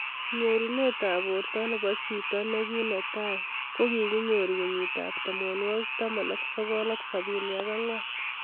Nyorunet ab borto nebo chito ne kitai kokikinyoru kenyit ab tamanwaki taman ak sokol ak sabini ak angwan.